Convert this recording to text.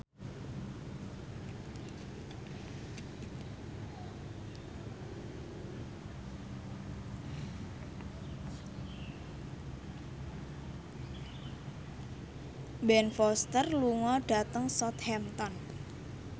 Ben Foster lunga dhateng Southampton